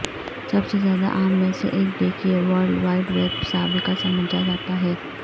سب سے زیادہ عام میں سے ایک دیکھیے ورلڈ وائڈ ویب سابقہ سمجھا جاتا ہے